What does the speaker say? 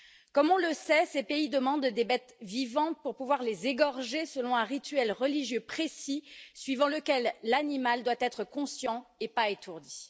Comme nous le savons, ces pays demandent des bêtes vivantes pour pouvoir les égorger selon un rituel religieux précis suivant lequel l'animal doit être conscient, et pas étourdi.